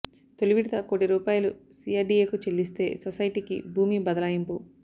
తొలి విడత కోటి రూపాయలు సీఆర్డీఏ కు చెల్లిస్తే సొసైటీ కి భూమి బదలాయింపు